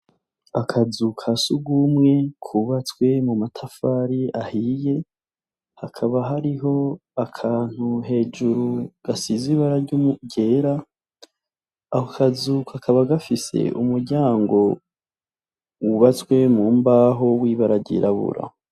Akazu ka sugumwe kubatswe mu matafari ahiye, hakaba hariho akantu hejuru gasize ibara ryera, ako kazu kakaba gafise umuryango w'ubatswe mu mbaho w'ibara ryirabura.